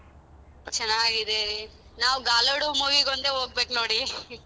ಚನ್ನಾಗಿದೆ ನಾವು గాలోడు movie ಗೆ ಒಂದೇ ಹೋಗ್ಬೇಕು ನೋಡಿ .